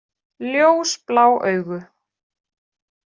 Ljósblá augu.